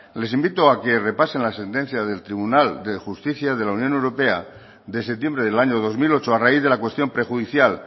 les invito a que repasen la sentencia del tribunal de justicia de la unión europea de septiembre del año dos mil ocho a raíz de la cuestión prejudicial